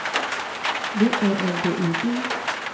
V Ä L D I G